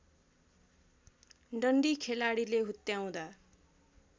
डन्डी खेलाडीले हुत्याउँदा